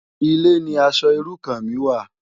Ilé ni aṣò irú kàn mi wá